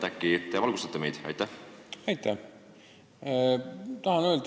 Äkki te valgustate meid?